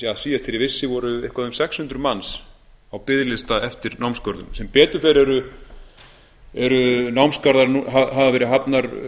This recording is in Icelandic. síðast þegar ég vissi voru eitthvað um sex hundruð manns á biðlista eftir námsgörðum sem betur fer hafa nú verið hafnar